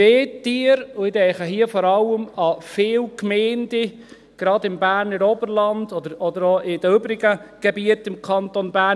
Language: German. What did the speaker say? Und ich denke hier vor allem an viele Gemeinden, gerade im Berner Oberland oder auch in den übrigen Gebieten im Kanton Bern.